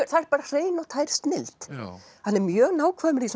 það er hrein og tær snilld hann er mjög nákvæmur í